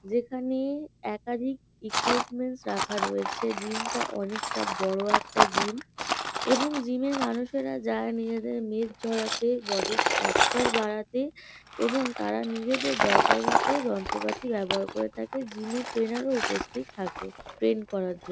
যেখানে একাধিক ইকুইপমেন্টস রাখা রয়েছে। জিম -টা অনেকটা বড় একটা জিম এবং জিম -এ মানুষেরা যায় নিজেদের মেদ ঝরাতে বডি স্ট্রাকচার বারাতে এবং তারা নিজেদের দরকার মতো যন্ত্রপাতি ব্যবহার করে থাকে। জিম -এর ট্রেনার -ও উপস্থিত থাকে ট্রেন করার জন--